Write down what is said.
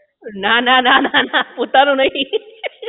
નાના ના ના પોતાનું નહીં